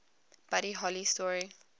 buddy holly story